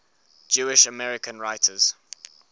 jewish american writers